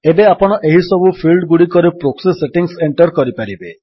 ଏବେ ଆପଣ ଏହିସବୁ ଫିଲ୍ଡଗୁଡ଼ିକରେ ପ୍ରୋକ୍ସି ସେଟିଙ୍ଗ୍ସ ଏଣ୍ଟର୍ କରିପାରିବେ